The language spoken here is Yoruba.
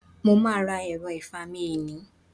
Mo máà ra ẹ̀ro ìfami eni